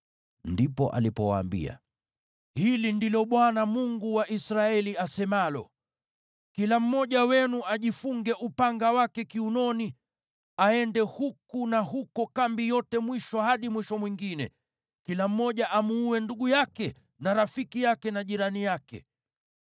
Ndipo alipowaambia, “Hili ndilo Bwana , Mungu wa Israeli asemalo: ‘Kila mmoja wenu ajifunge upanga wake kiunoni aende huku na huko kambi yote mwisho hadi mwisho mwingine, kila mmoja amuue ndugu yake, na rafiki yake na jirani yake.’ ”